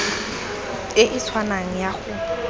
e e tshwanang ya go